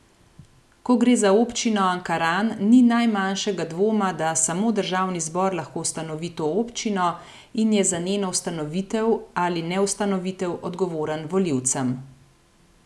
Ko gre za občino Ankaran, ni najmanjšega dvoma, da samo državni zbor lahko ustanovi to občino in je za njeno ustanovitev ali neustanovitev odgovoren volilcem.